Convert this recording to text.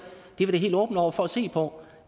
helt åbne over for at se på